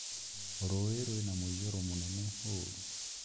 Rũĩ rwĩna mũiyũro mũnene ũũru